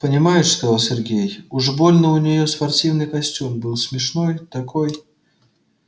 понимаешь сказал сергей уж больно у нее спортивный костюм был смешной такой